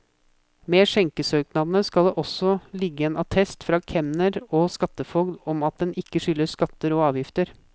Med skjenkesøknadene skal det også ligge en attest fra kemner og skattefogd om at en ikke skylder skatter og avgifter.